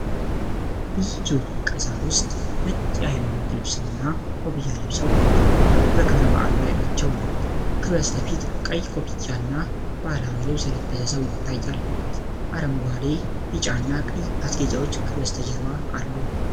ብዙ ቀሳውስት ነጭ የሃይማኖት ልብስና ኮፍያ ለብሰው በክብረ በዓል ላይ ናቸው። ከበስተፊት ቀይ ኮፍያና ባህላዊ ልብስ የለበሰ ሰው ይታያል። አረንጓዴ፣ ቢጫና ቀይ ማስጌጫዎች ከበስተጀርባ አሉ።